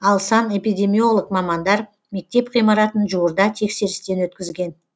ал санэпидемиолог мамандар мектеп ғимаратын жуырда тексерістен өткізген